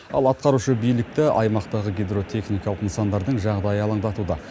ал атқарушы билікті аймақтағы гидротехникалық нысандардың жағдайы алаңдатуда